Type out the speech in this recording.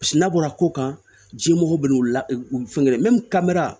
n'a bɔra ko kan ji mɔgɔ bɛ n'u la u fɛn kelen kamera